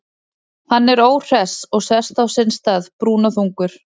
Hann er óhress og sest á sinn stað, brúnaþungur.